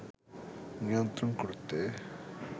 নিয়ন্ত্রণ করতে